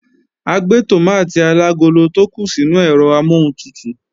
A gbé tòmátì alagolo tó kù sínú ẹ̀rọ amọ́huntutù